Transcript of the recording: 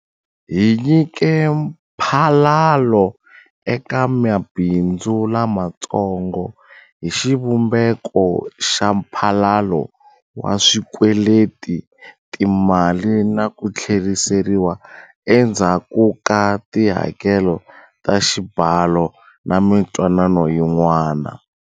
Hi nyike mphalalo eka mabindzu lamatsongo hi xivumbeko xa mphalalo wa swikweleti, timali na ku tlheriseriwa endzhaku ka tihakelo ta xibalo na mitwanano yin'wana.